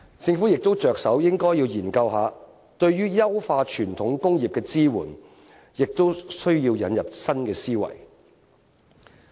政府應着手研究對於優化傳統工業的支援，亦需要引入新思維。